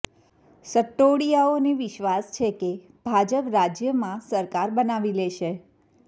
સટ્ટોડિયાઓને વિશ્વાસ છે કે ભાજપ રાજ્યમાં સરકાર બનાવી લેશે